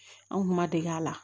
An kuma dege a la